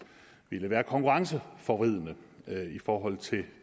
er konkurrenceforvridende for